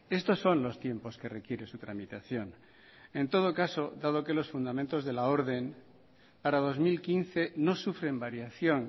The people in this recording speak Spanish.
estos son los tiempos que requiere su tramitación en todo caso dado que los fundamentos de la orden para dos mil quince no sufren variación